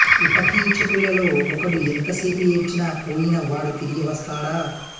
ఉపకీచకులలో ఒకడు ఎంత సేపు ఏడ్చినా పోయిన వాడు తిరిగి వస్తాడా